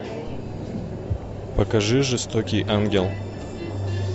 покажи жестокий ангел